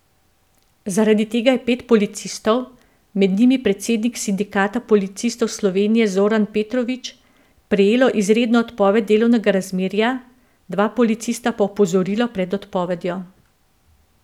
Zaradi tega je pet policistov, med njimi predsednik Sindikata policistov Slovenije Zoran Petrovič, prejelo izredno odpoved delovnega razmerja, dva policista pa opozorilo pred odpovedjo.